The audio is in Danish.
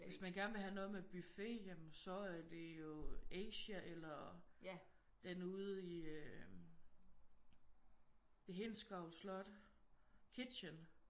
Hvis man gerne vil have noget med buffet ja men så er det jo Asia eller den ude i øh ved Hindsgavl Slot Kitchen